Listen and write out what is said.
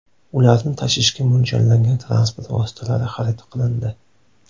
Ularni tashishga mo‘ljallangan transport vositalari xarid qilindi.